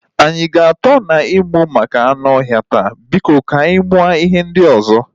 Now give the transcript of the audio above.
Anyị a ga atọ na ịmụ maka anụ ọhịa taa? Biko ka anyị mụọ ihe ndị ozo